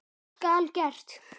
Skal gert!